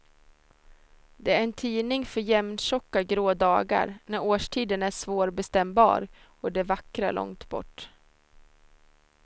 Det är en tidning för jämntjocka grå dagar när årstiden är svårbestämbar och det vackra långt bort.